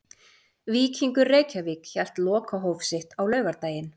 Víkingur Reykjavík hélt lokahóf sitt á laugardaginn.